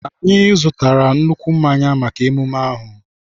Anyị zụtara nnukwu mmanya maka emume ahụ.